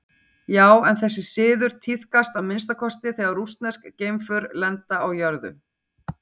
Já, þessi siður tíðkast að minnsta kosti þegar rússnesk geimför lenda á jörðu.